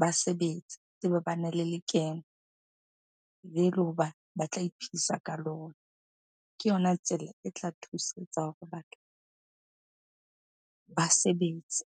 Ba sebetse, ba tsebe bana le lekeno le le hoba ba tla iphedisa ka lona. Ke yona tsela e tla thusetsa hore batho ba sebetse.